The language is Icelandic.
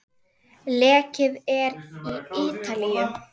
Leikið er í Ítalíu.